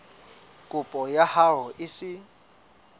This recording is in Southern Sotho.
kopo ya hao e se